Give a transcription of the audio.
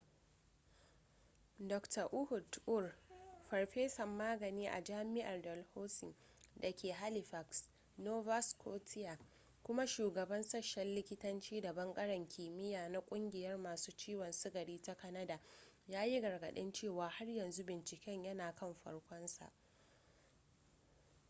dokta ehud ur farfesan magani a jami'ar dalhousie da ke halifax nova scotia kuma shugaban sashen likitanci da bangaren kimiyya na kungiyar masu ciwon sikari ta kanada ya yi gargadin cewa har yanzu binciken yana kan farkonsa